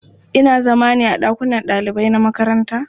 Ina zama ne a ɗakunan ɗalibai na makaranta.